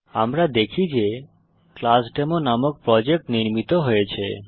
আমরা দেখি যে ক্লাসডেমো নামক প্রজেক্ট নির্মিত হয়েছে